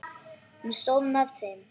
Hún stóð með þeim.